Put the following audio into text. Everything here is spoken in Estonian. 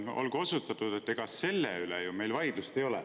Olgu osutatud, et ega selle üle ju meil vaidlust ei ole.